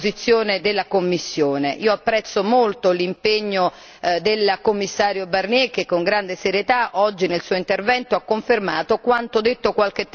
Io apprezzo molto l'impegno del Commissario Barnier che con grande serietà oggi nel suo intervento ha confermato quanto detto qualche tempo fa davanti a quest'Aula.